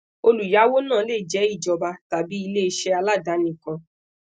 oluyawo naa le jẹ ijọba tabi ileiṣẹ aladani kan